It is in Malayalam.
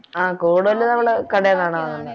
ആഹ് കൂടുതല് നമ്മള് കടെന്നാണ് വാങ്ങുന്നേ